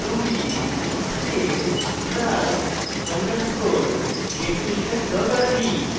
ruby space class underscore definition dot rb